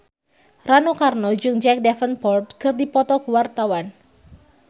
Rano Karno jeung Jack Davenport keur dipoto ku wartawan